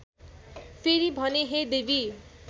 फेरि भने हे देवी